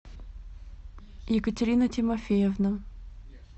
екатерина тимофеевна